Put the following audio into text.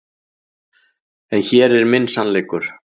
En hér er minn sannleikur.